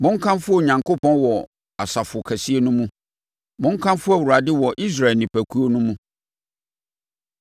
Monkamfo Onyankopɔn wɔ asafo kɛseɛ no mu; monkamfo Awurade wɔ Israel nipakuo no mu.